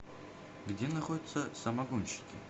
где находится самогонщики